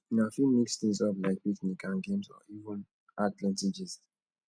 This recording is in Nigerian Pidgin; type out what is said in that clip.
una fit mix things up like picnic and games or even add plenty gist